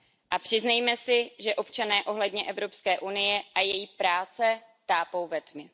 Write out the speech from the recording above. A přiznejme si, že občané ohledně Evropské unie a její práce tápou ve tmě.